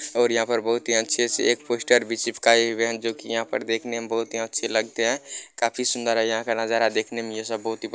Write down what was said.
और यहाँ पर बहुत ही अच्छे से एक पोस्टर भी चिपकाये हुए है जो की यह पर देखने में बहुत ही अच्छे लगते है काफी सुन्दर है यह का नज़ारा देखने में ये सब बहुत ही--